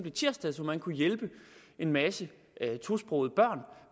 i tirsdags hvor man kunne hjælpe en masse tosprogede børn